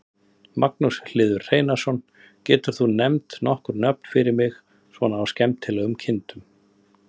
Magnús Hlynur Hreiðarsson: Getur þú nefnt nokkur nöfn fyrir mig svona á skemmtilegum kindum?